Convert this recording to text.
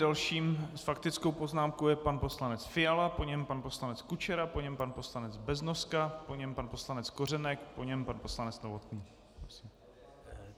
Dalším s faktickou poznámkou je pan poslanec Fiala, po něm pan poslanec Kučera, po něm pan poslanec Beznoska, po něm pan poslanec Kořenek, po něm pan poslanec Novotný.